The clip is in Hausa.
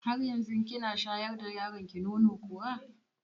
Har yanzu kina shayar da yaronki nono kuwa?